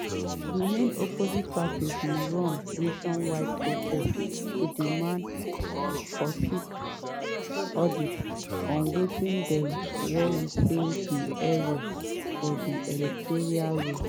di main opposition party bin run nationwide protest to demand forensic audit on wetin dem worry say be errors for di electoral roll.